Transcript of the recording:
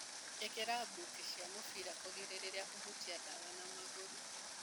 ĩkĩra mbuti cia mũbira kũgirĩrĩria kũhutia ndawa na magũrũ.